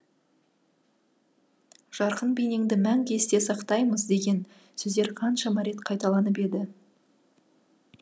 жарқын бейнеңді мәңгі есте сақтаймыз деген сөздер қаншама рет қайталанып еді